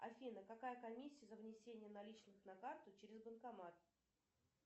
афина какая комиссия за внесение наличных на карту через банкомат